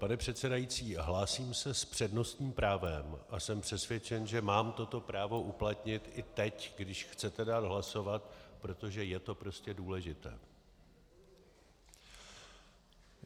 Pane předsedající, hlásím se s přednostním právem a jsem přesvědčen, že mám toto právo uplatnit i teď, když chcete dát hlasovat, protože je to prostě důležité.